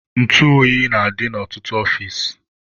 Ntụ oyi na-adị na ọtụtụ ọfici.